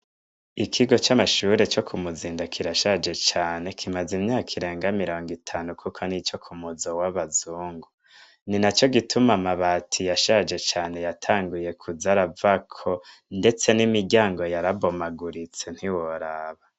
Ikigo c'amashure co ku Muzinda kirashaje cane kimaze imyaka irenga mirongo itanu kuko nico k'umuzo w'abazungu, ni naco gituma amabati yashaje cane yatanguye kuza aravako ndetse n'imiryango yarabomaguritse ntiworaba.